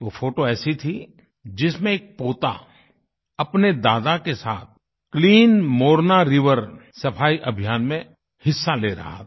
वो फोटो ऐसी थी जिसमें एक पोता अपने दादा के साथ क्लीन मोरना रिवर सफाई अभियान में हिस्सा ले रहा था